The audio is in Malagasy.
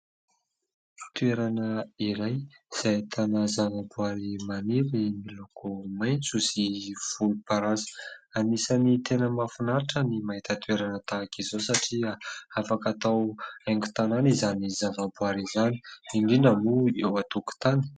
Toerana iray izay ahitana zavaboary maniry miloko maitso sy volomparasy, anisan'ny tena mahafinaritra ny mahita toerana tahaka izao satria afaka atao haingon-tanàna izany zavaboary izany indrindra moa eo an-tokotany.